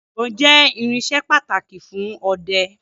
Ìbon jẹ́ irinsẹ́ pàtàkì fún ọdẹ